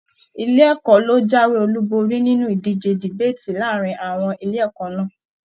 Ilé ẹ̀kọ́ lo jáwé olú borí nínú ìdíje debaati láàrín àwọn ilé ẹ̀kọ́ náà.